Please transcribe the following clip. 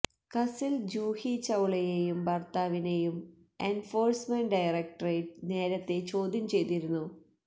കസിൽ ജൂഹി ചൌളയേയും ഭർത്താവിനേയും enforcement directorate നേരത്തെ ചോദ്യം ചെയ്തിരുന്നു